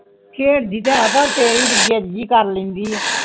ਖੇਡ ਦੀ ਤੇ ਹੈ ਫੇਰ ਵੀ ਜਿੰਦ ਜਿਨ ਕਰ ਲੈਂਦੀ ਆ